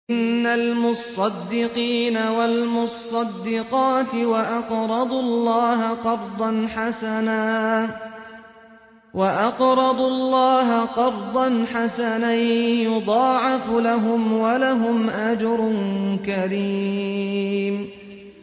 إِنَّ الْمُصَّدِّقِينَ وَالْمُصَّدِّقَاتِ وَأَقْرَضُوا اللَّهَ قَرْضًا حَسَنًا يُضَاعَفُ لَهُمْ وَلَهُمْ أَجْرٌ كَرِيمٌ